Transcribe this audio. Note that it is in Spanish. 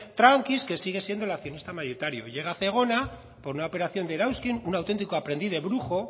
tranquis que sigue siendo el accionista mayoritario llega zegona por una operación de erauzkin un auténtico de aprendiz de brujo